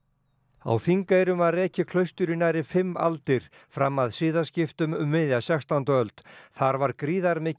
á Þingeyrum var rekið klaustur í nærri fimm aldir fram að siðaskiptum um miðja sextándu öld þar var gríðarmikil